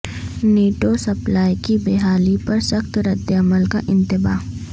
NATO supply کی بحالی پر سخت ردعمل کا انتباہ